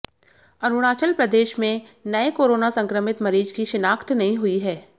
अरुणाचल प्रदेशमें नये कोरोना संक्रमित मरीज की शिनाख्त नहीं हुई है